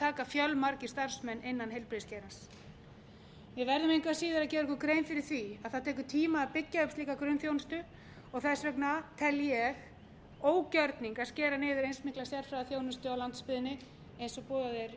taka fjölmargir starfsmenn innan heilbrigðisgeirans við verðum engu að síður að gera okkur grein fyrir því að það tekur tíma að byggja upp slíka grunnþjónustu og þess vegna tel ég ógjörning að skera niður eins mikla sérfræðiþjónustu á landsbyggðinni og boðað er